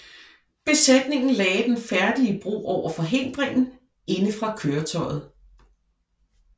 Besætningen lagde den færdige bro over forhindringen indefra køretøjet